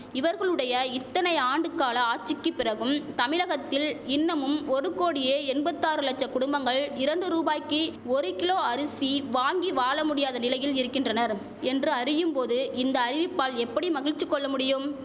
இவர்களுடைய இத்தனை ஆண்டுக்கால ஆச்சிக்கு பிறகும் தமிழகத்தில் இன்னமும் ஒரு கோடியே எண்பத்தாறு லட்சம் குடும்பங்கள் இரண்டு ரூபாய்க்கு ஒரு கிலோ அரிசி வாங்கி வாழ முடியாத நிலையில் இருக்கின்றனர் என்று அறியும் போது இந்த அறிவிப்பால் எப்படி மகிழ்ச்சி கொள்ள முடியும்